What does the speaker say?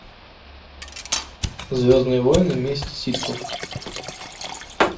звездные войны месть ситхов